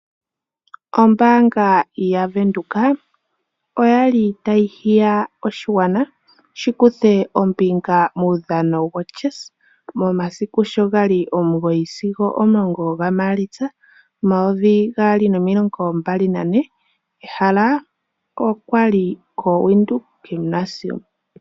Ombaanga yaVenduka, oyali tayi hiya oshigwana shi kuthe ombinga muudhano woChess ,momasiku sho gali omugoyi sigo omulongo ga Maalitsa momayovi gaali nomilongo mbali na ne, ehala okwali koWindhoek Gymnasium.